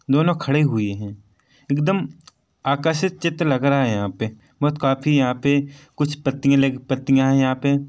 दोनो खड़े हुए है एक दम आकर्षित चित्र लग रहा है यहाँ पे बहोत काफ़ी यहाँ पे कुछ पत्तिया लगी पत्तियां है यहाँ पे।